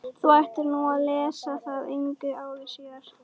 Þú ættir nú að lesa það engu að síður.